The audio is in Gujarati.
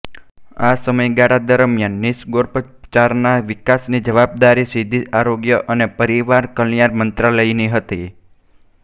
આ સમયગાળા દરમિયાન નિસર્ગોપચારના વિકાસની જવાબદારી સીધી આરોગ્ય અને પરિવાર કલ્યાણ મંત્રાલયની હતી